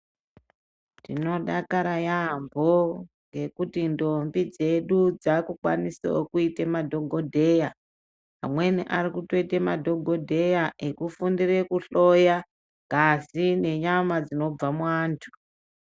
Tinodakara yaambo ngekuti ndombi dzedu dzakukwanisawo kuite madhogodheya. Amweni ari kutoite madhogodheya ekufundire kuhloya ngazi nenyama dzinobva muantu.